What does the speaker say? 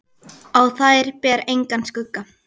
Á þær ber engan skugga.